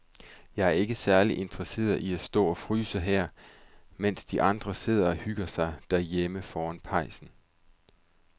Jeg er ikke særlig interesseret i at stå og fryse her, mens de andre sidder og hygger sig derhjemme foran pejsen.